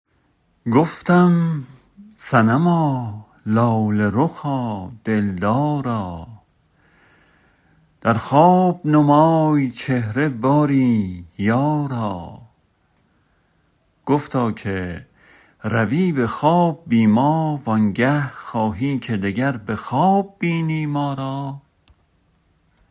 گفتم صنما لاله رخا دلدارا در خواب نمای چهره باری یارا گفتا که روی به خواب بی ما وآنگه خواهی که دگر به خواب بینی ما را